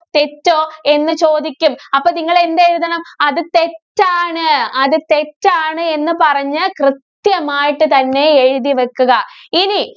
തെറ്റോ? എന്ന് ചോദിക്കും. അപ്പോ നിങ്ങള് എന്തെഴുതണം അത് തെറ്റാണ്. അത് തെറ്റാണ് എന്ന് പറഞ്ഞ് കൃത്യമായിട്ട് തന്നെ എഴുതി വക്കുക. ഇനി